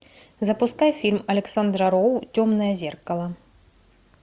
запускай фильм александра роу темное зеркало